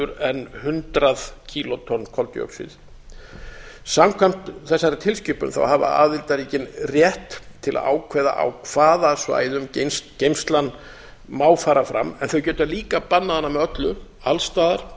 en hundrað kílótonn koldíoxíðs samkvæmt þessari tilskipun hafa aðildarríkin rétt til að ákveða á hvaða svæðum geymslan má fara fram en þau geta líka bannað hana með öllu alls staðar